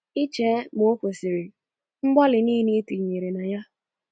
I chee ma o kwesịrị mgbalị nile ị tinyere na ya..